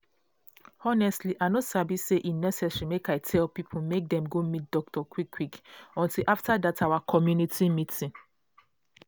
honestly i no sabi say e necessary make i tell people make dem go meet doctor quick quick until after dat our community meeting.